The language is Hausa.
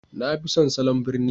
Na fi son salon birni